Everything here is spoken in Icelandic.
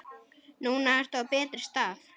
Núna ertu á betri stað.